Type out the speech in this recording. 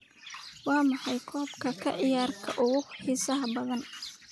waa maxay qoob ka ciyaarka ugu xiisaha badan